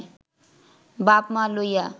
বাপ-মা লইয়া